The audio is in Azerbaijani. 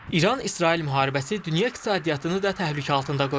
İran-İsrail müharibəsi dünya iqtisadiyyatını da təhlükə altında qoyur.